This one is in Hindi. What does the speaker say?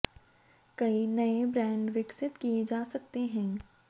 कई नए ब्रांड विकसित किए जा सकते हैं